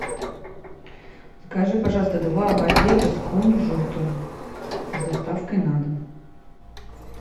закажи пожалуйста два багета с кунжутом с доставкой на дом